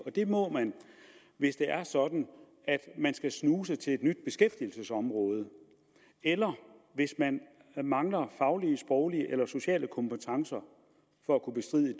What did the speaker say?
det må man hvis det er sådan at man skal snuse til et nyt beskæftigelsesområde eller hvis man mangler faglige sproglige eller sociale kompetencer for at kunne bestride